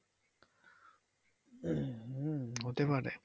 হম হতে পারে।